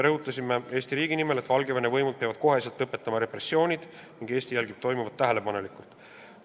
Rõhutasime Eesti riigi nimel, et Valgevene võimud peavad kohe repressioonid lõpetama ning et Eesti jälgib toimuvat tähelepanekult.